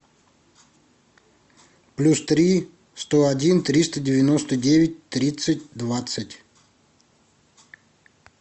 плюс три сто один триста девяносто девять тридцать двадцать